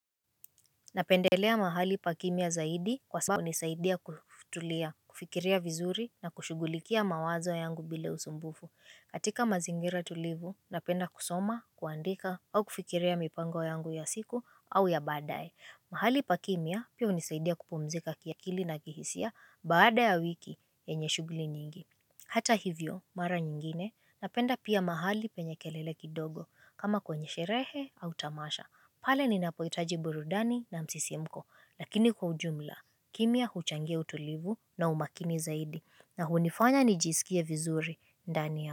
Napendelea mahali pa kimya zaidi kwa sababu hunisaidia kutulia, kufikiria vizuri na kushughulikia mawazo yangu bila usumbufu. Katika mazingira tulivu, napenda kusoma, kuandika au kufikiria mipango yangu ya siku au ya baadaye. Mahali pa kimya pia hunisaidia kupumzika kiakili na kihisia baada ya wiki yenye shughuli nyingi. Hata hivyo, mara nyingine, napenda pia mahali penye kelele kidogo kama kwenye sherehe au tamasha. Pale ninapohitaji burudani na msisimuko, lakini kwa ujumla, kimya huchangia utulivu na umakini zaidi, na hunifanya nijisikie vizuri ndani yangu.